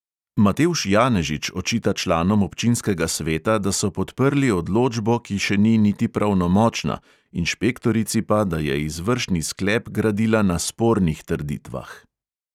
Matevž janežič očita članom občinskega sveta, da so podprli odločbo, ki še ni niti pravnomočna, inšpektorici pa, da je izvršni sklep gradila na spornih trditvah.